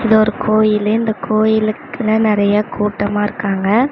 இது ஒரு கோயிலு இந்த கோயிலுக்குன்னு நெறைய கூட்டமாருக்காங்க.